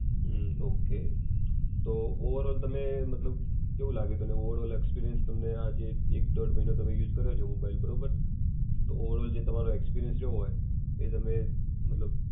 હમ ok. તો overall તમને મતલબ, કેવું લાગે? કે ઓવરઑલ એક્સપિરિયન્સ તમને આ જે એક ડોળ મહિના તમે યુઝ કરો છો મોબાઈલ બરોબર. તો ઓવરઑલ જે તમારો એક્સપિરિયન્સ જોવો હોય. એ તમે મતલબ